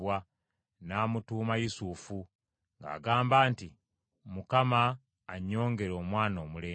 n’amutuuma Yusufu, ng’agamba nti, “ Mukama annyongere omwana omulenzi.”